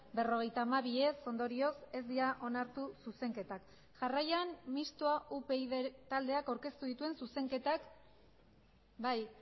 berrogeita hamabi ez ondorioz ez dira onartu zuzenketak jarraian mistoa upyd taldeak aurkeztu dituen zuzenketak bai